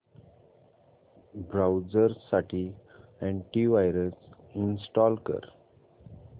browser साठी antivirus install कर